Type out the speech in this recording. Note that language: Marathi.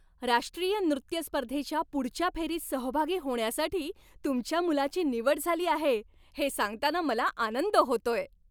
राष्ट्रीय नृत्य स्पर्धेच्या पुढच्या फेरीत सहभागी होण्यासाठी तुमच्या मुलाची निवड झाली आहे हे सांगताना मला आनंद होतोय.